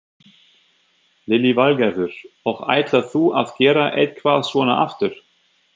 Lillý Valgerður: Og ætlar þú að gera eitthvað svona aftur?